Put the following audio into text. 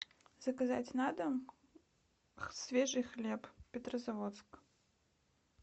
заказать на дом свежий хлеб петрозаводск